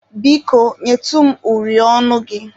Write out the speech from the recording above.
Biko, nyetụ m uri ọnụ gị.